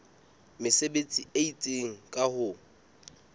mesebetsi e itseng ka ho